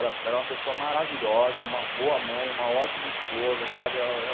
Ela ela é uma pessoa maravilhosa, uma boa mãe, uma ótima esposa, sabe?